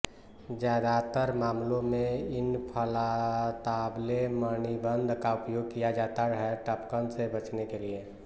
ज्यादातर मामलों में इन्फ्लाताब्ले मणिबन्ध का उपयोग किया जाता है टपकन से बचने के लिए